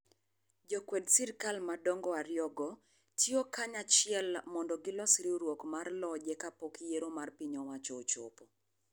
Jokwed sirkal madongo ariyogo, tiyo kanyachiel mondo gilos riwruok mar loje ka pok yiero mar piny owacho ochopo.